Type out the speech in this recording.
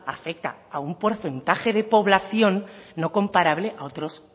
afecta a un porcentaje de población no comparable a otros